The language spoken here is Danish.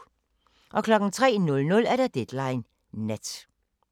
03:00: Deadline Nat